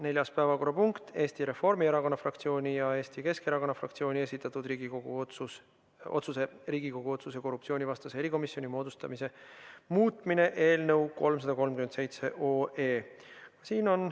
Neljas päevakorrapunkt: Eesti Reformierakonna fraktsiooni ja Eesti Keskerakonna fraktsiooni esitatud Riigikogu otsuse "Riigikogu otsuse "Korruptsioonivastase erikomisjoni moodustamine" muutmine" eelnõu 337.